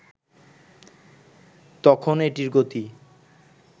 তখন এটির গতি